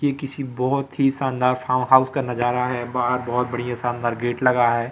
ये किसी बहोत ही शानदार फार्म हाउस का नजारा है बाहर बहोत बढ़िया शानदार गेट लगा है।